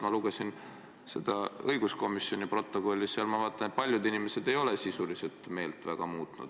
Ma lugesin õiguskomisjoni istungi protokolli ja nägin, et paljud inimesed ei ole sisuliselt meelt muutnud.